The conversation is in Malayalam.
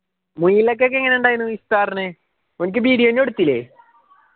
മുയലൊക്കെക്കെ എങ്ങനെ ഉണ്ടായിരുന്നു ഇഫ്‌താറിന്‌ ഓനിക്ക് video എടുത്തില്ലേ